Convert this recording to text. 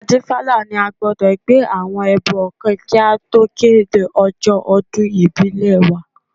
Adífálà ní a gbọdọ̀ gbé àwọn ẹbọ kan kí a tó kéde ọjọ́ ọdún ìbílẹ̀ wa